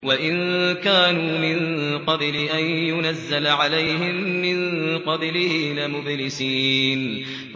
وَإِن كَانُوا مِن قَبْلِ أَن يُنَزَّلَ عَلَيْهِم مِّن قَبْلِهِ لَمُبْلِسِينَ